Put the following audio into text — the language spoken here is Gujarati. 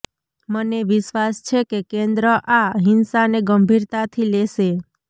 મને વિશ્વાસ છે કે કેન્દ્ર આ હિંસાને ગંભીરતાથી લેશે